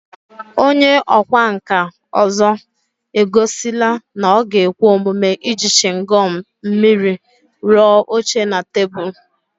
Onye ọkwá nkà ọzọ egosila na ọ ga-ekwe omume iji chịngọm mmiri rụọ oche na tebụl